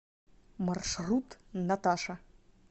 маршрут наташа